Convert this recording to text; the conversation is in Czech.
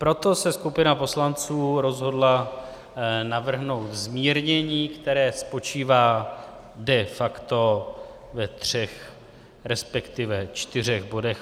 Proto se skupina poslanců rozhodla navrhnout zmírnění, které spočívá de facto ve třech, respektive čtyřech bodech.